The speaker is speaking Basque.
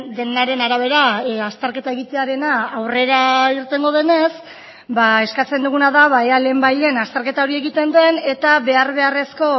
denaren arabera azterketa egitearena aurrera irtengo denez ba eskatzen duguna da ea lehen bai lehen azterketa hori egiten den eta behar beharrezko